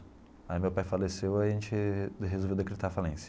Aí meu pai faleceu e a gente resolveu decretar falência.